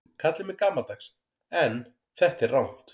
Kallið mig gamaldags en þetta er rangt.